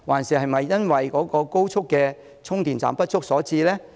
是否高速充電站不足所致？